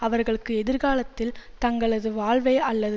அவர்களுக்கு எதிர்காலத்தில் தங்களது வாழ்வை அல்லது